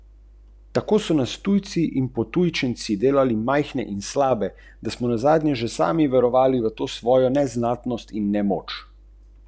Pomembna je tudi šestnajsta smernica, ki predstavlja test sorazmernosti.